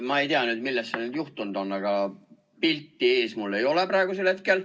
Ma ei tea, millest see nüüd juhtunud on, aga pilti ees mul ei ole praegusel hetkel.